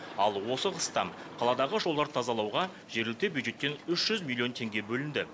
ал осы қыста қаладағы жолдарды тазалауға жергілікті бюджеттен үш жүз миллион теңге бөлінді